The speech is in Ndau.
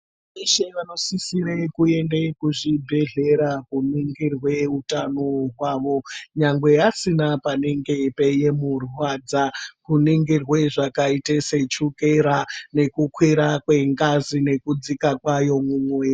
Veshe vanosisire kuende kuzvibhedhlera kooningirwe utano hwawo nyangwe asina panenge peimurwadza. Kuningirwe zvakaita sechukera nekukwira kwengazi nekudzika kwayo mumuviri.